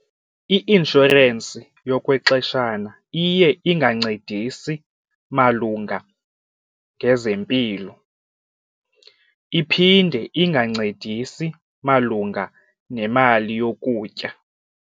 I-inshorensi yokwexeshana iye ingancedisi malunga ngezempilo iphinde ingancedisi malunga nemali yokutya.